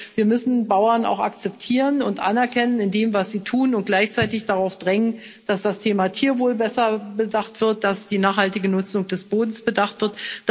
Das heißt, wir müssen Bauern auch akzeptieren und anerkennen in dem, was sie tun, und gleichzeitig darauf drängen, dass das Thema Tierwohl besser bedacht wird, dass die nachhaltige Nutzung des Bodens bedacht wird.